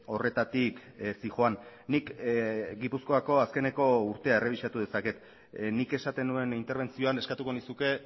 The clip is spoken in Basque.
horretatik zihoan nik gipuzkoako azkeneko urtea errebisatu dezaket nik esaten nuen interbentzioan eskatuko nizuke